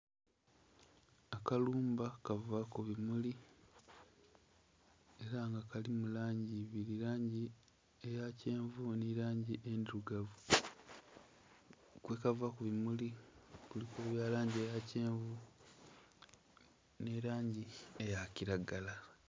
Akalumba kava ku bimuli era nga kalimu langi ibiri, langi eya kyenvu ni langi endhirugavu. Kwekava ku bimuli kuliku ebya langi eya kyenvu ni langi eya kiragala